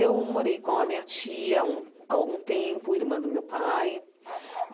Eu morei com a minha tia há um há algum tempo, a irmã do meu pai.